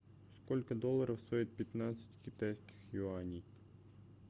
сколько долларов стоит пятнадцать китайских юаней